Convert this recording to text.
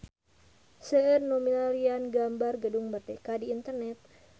Seueur nu milarian gambar Gedung Merdeka di internet